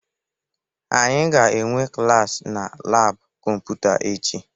Anyị ga-enwe klaasị na laabụ kọmputa echi